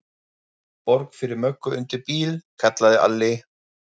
Borg fyrir Möggu undir bíl, kallaði Alli.